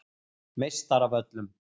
Meistaravöllum